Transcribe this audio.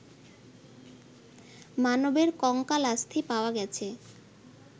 মানবের কঙ্কালাস্থি পাওয়া গেছে